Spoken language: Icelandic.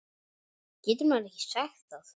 Getur maður ekki sagt það?